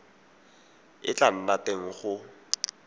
e tla nna teng go